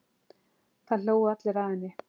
Það hlógu allir að henni.